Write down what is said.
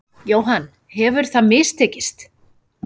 Jóhann: Hefur það mistekist?